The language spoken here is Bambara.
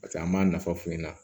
Paseke an m'a nafa f'u ɲɛna